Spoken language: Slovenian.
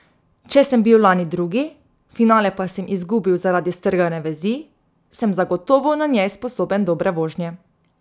Če sem bil lani drugi, finale pa sem izgubil zaradi strgane vezi, sem zagotovo na njej sposoben dobre vožnje.